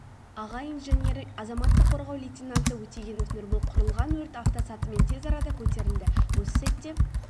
аға инженері азаматтық қорғау лейтенанты өтегенов нұрбол құрылған өрт автосатымен тез арада көтерілді осы сәтте